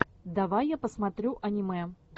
давай я посмотрю аниме